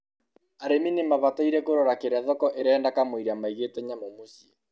arĩmi nimabataire kũrora kĩrĩa thoko ĩrenda kamũira maigĩte nyamũ mũcĩĩ